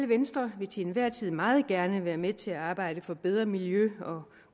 venstre vil til enhver tid meget gerne være med til at arbejde for bedre miljø og